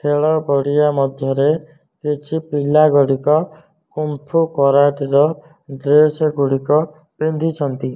ଖେଳ ପଡ଼ିଆ ମଧ୍ୟରେ କିଛି ପିଲା ଗୁଡ଼ିକ କୁଂ ଫୁ କରାଟି ର ଡ୍ରେସ ଗୁଡ଼ିକ ପିନ୍ଧିଛନ୍ତି।